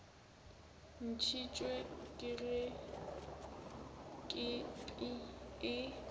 ntšhitšwe ke ge kepi e